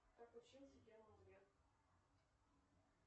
как учился герман греф